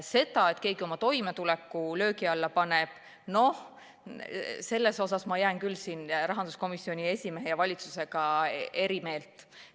Selle osas, kas keegi oma toimetuleku löögi alla paneb, ma jään küll rahanduskomisjoni esimehe ja valitsusega eri meelt.